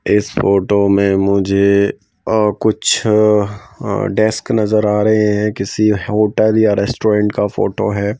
इस फोटो मैं मुझे आह कुछ आ डेस्क नजर आ रहे हैं किसी होटल या रेस्टोरेंट का फोटो है।